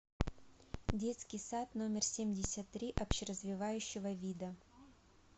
детский сад номер семьдесят три общеразвивающего вида